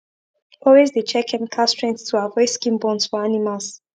always de check chemical strength to avoid skin burns for animals